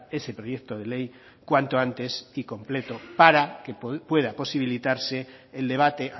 ese proyecto de ley cuanto antes y completo para que pueda posibilitarse el debate